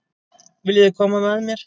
Viljiði koma með mér?